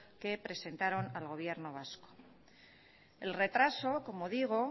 que presentaron al gobierno vasco el retraso como digo